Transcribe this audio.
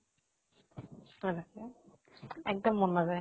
এক্দম মন নাজায়।